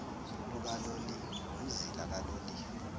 lukaloliwe umzila kaloliwe